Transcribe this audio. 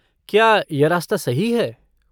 क्या यह रास्ता सही है?